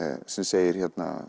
sem segir